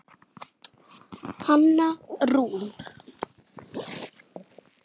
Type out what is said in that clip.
Hanna Rún.